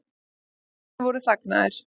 Hanarnir voru þagnaðir.